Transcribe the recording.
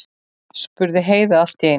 spurði Heiða allt í einu.